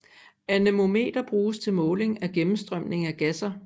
Anemometer bruges til måling af gennemstrømning af gasser